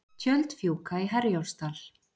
Tjöld fjúka í Herjólfsdal